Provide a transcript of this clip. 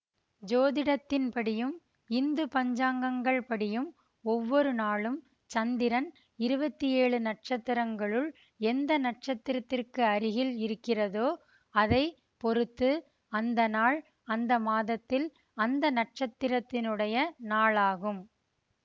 ஜோதிடத்தின்படியும் இந்து பஞ்சாங்கங்கள் படியும் ஒவ்வொரு நாளும் சந்திரன் இருவத்தி ஏழு நட்சத்திரங்களுள் எந்த நட்சத்திரத்திற்கருகில் இருக்கிறதோ அதை பொறுத்து அந்தநாள் அந்தமாதத்தில் அந்த நட்சத்திரத்தினுடைய நாள் ஆகும்